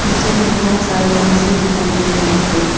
नीचे मे बहोत सारे कुर्सी दिखाई दे रही हैं।